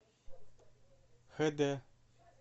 хэ дэ